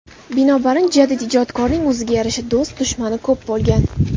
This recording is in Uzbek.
Binobarin, jadid ijodkorning o‘ziga yarasha do‘st-dushmani ko‘p bo‘lgan.